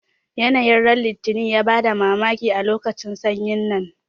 Yanayin ran litini ya bada mamaki a lokacin sanyi nan